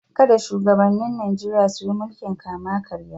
Kada shugabannin Nijeriya su yi mulkin kama-karya.